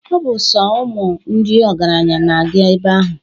..Ọ bụ sọ ụmụ ndị ọgaranya na-aga ebe ahụ.